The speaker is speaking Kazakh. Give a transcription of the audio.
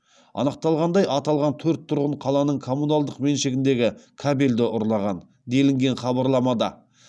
анықталғандай аталған төрт тұрғын қаланың коммуналдық меншігіндегі кабельді ұрлаған делінген хабарламада